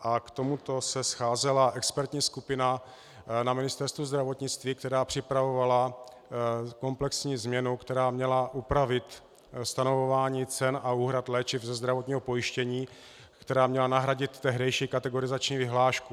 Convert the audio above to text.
a k tomuto se scházela expertní skupina na Ministerstvu zdravotnictví, která připravovala komplexní změnu, která měla upravit stanovování cen a úhrad léčiv ze zdravotního pojištění, která měla nahradit tehdejší kategorizační vyhlášku.